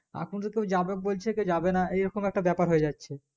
এখন তো কেও যাবে বলছে কেও যাবে না আর এই রকম একটা ব্যাপার হয়ে যাচ্ছে